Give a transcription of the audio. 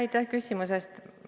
Aitäh küsimuse eest!